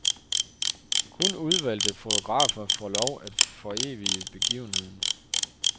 Kun udvalgte fotografer får lov at forevige begivenheden.